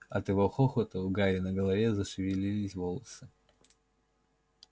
от его хохота у гарри на голове зашевелились волосы